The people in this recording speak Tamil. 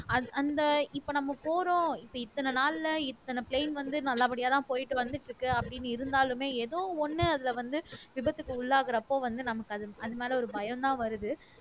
அஹ் அந்த இப்ப நம்ம போறோம் இப்ப இத்தனை நாள்ல இத்தனை plain வந்து நல்லபடியாதான் போயிட்டு வந்துட்டு இருக்கு அப்படின்னு இருந்தாலுமே ஏதோ ஒண்ணு அதுல வந்து விபத்துக்கு உள்ளாகுறப்போ வந்து நமக்கு அது அது மேலே ஒரு பயம்தான் வருது